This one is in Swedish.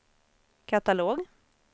katalog